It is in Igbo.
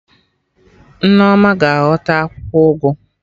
Nneoma ga-aghọta akwụkwọ ụgụ